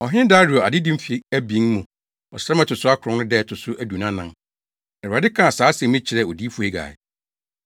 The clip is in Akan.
Ɔhene Dario adedi mfe abien mu, ɔsram a ɛto so akron no da a ɛto so aduonu anan, Awurade kaa saa asɛm yi kyerɛɛ Odiyifo Hagai.